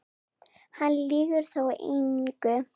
Hann lýgur þá engu.